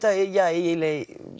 eiginlega